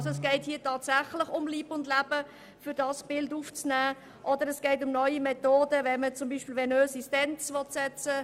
Es geht auch um neue Methoden, um für das Herz venöse Stents zu setzen.